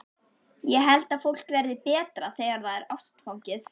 Ég held að fólk verði betra þegar það er ástfangið.